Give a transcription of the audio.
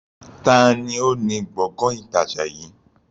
Taàní ó ní Gbọ̀ngán ìtajà yìí?